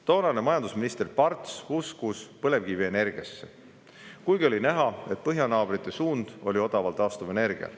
Toonane majandusminister Parts uskus põlevkivienergiasse, kuigi oli näha, et põhjanaabrite suund oli odav taastuvenergia.